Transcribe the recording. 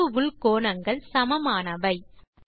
தாங்கு உள் கோணங்கள் சமமானவை